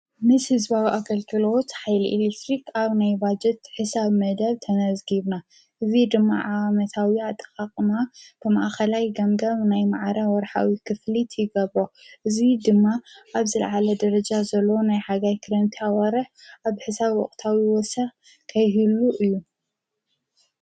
ምስ ህዝባዊ ኣገልግልሎት ሓይሊ ኤልክትሪ ኣብ ናይ ባጀት ሕሳብ መደብ ተነዝጊብና፡፡ እዙይ ድማ ዓመታዊ ኣጠቓቕማ ብማኣኸላይ ገምጋም ናይ ማዓረ ወርሓዊ ክፍሊት ይገብር፡፡ እዙይ ድማ ኣብ ዝለዓለ ደረጃ ዘሎ ናይ ሓጋይ ክረምቲ ኣዋርሕ ኣብ ሕሳብ ወቕታዊ ወሰኽ ከይህሉ እዩ፡፡